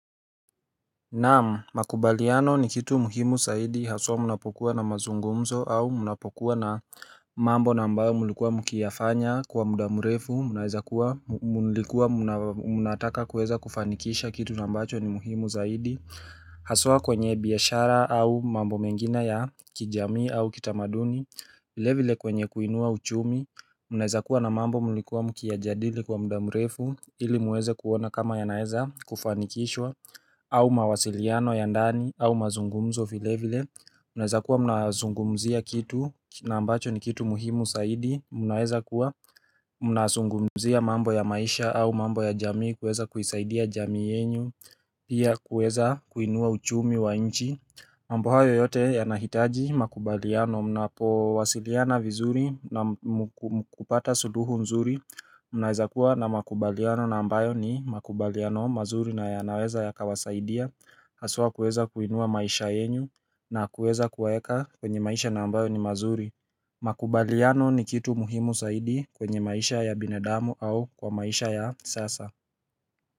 Naam, makubaliano ni kitu muhimu zaidi haswa mnapokuwa na mazungumzo au mnapokuwa na mambo na ambayo mlikuwa mkiyafanya kwa muda murefu, munaeza kuwa mulikuwa munataka kuweza kufanikisha kitu na ambacho ni muhimu zaidi, haswa kwenye biashara au mambo mengine ya kijamii au kitamaduni, vile vile kwenye kuinua uchumi, mnaweza kuwa na mambo mlikuwa mkiyajadili kwa muda mrefu, ili muweze kuona kama yanaeza kufanikishwa au mawasiliano ya ndani au mazungumzo vile vile mnaweza kuwa mnazungumzia kitu na ambacho ni kitu muhimu zaidi mnaweza kuwa mnazungumzia mambo ya maisha au mambo ya jamii kueza kuisaidia jamii yenu pia kuweza kuinua uchumi wa inchi ambayo yote yanahitaji makubaliano mnapowasiliana vizuri na kupata suluhu mzuri Unaweza kuwa na makubaliano na ambayo ni makubaliano mazuri na yanaweza yakawasaidia Hasua kueza kuinua maisha yenu na kuweza kuweka kwenye maisha ambayo ni mazuri Makubaliano ni kitu muhimu zaidi kwenye maisha ya binadamu au kwa maisha ya sasa.